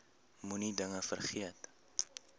moenie dinge vergeet